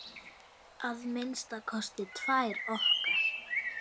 Að minnsta kosti tvær okkar.